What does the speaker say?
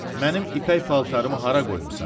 Mənim ipək paltarımı hara qoymusan?